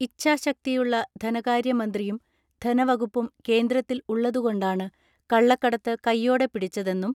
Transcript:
ഇച്ഛാശക്തിയുള്ള ധനകാര്യ മന്ത്രിയും ധനവകുപ്പും കേന്ദ്രത്തിൽ ഉള്ളതുകൊണ്ടാണ് കള്ളക്കടത്ത് കയ്യോടെ പിടിച്ചതെന്നും